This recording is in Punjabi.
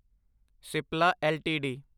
ਸਿਪਲਾ ਐੱਲਟੀਡੀ